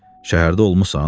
Şəhərdə olmusan?